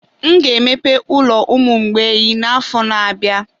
M ga-emepe ụlọ ụmụ mgbei n'afọ na-abịa.